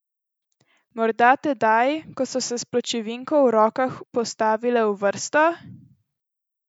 Morda tedaj, ko so se s pločevinko v rokah postavile v vrsto?